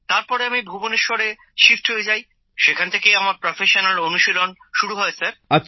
তারপরে আমি ভুবনেশ্বরে শিফট হয়ে যাই সেখান থেকেই আমার পেশাদারী অনুশীলন শুরু হয় স্যার